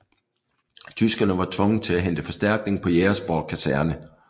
Tyskerne var tvunget til at hente forstærkning på Jægersborg Kaserne